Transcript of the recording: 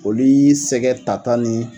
Olu y'i sɛgɛ tata ni